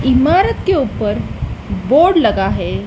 इमारत के ऊपर बोर्ड लगा है।